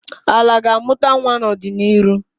Ala ga-amụta nwa n'ọdịniru.